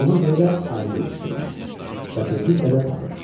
Ona görə də ayrı yol fikirləşir və tezliklə də tapır.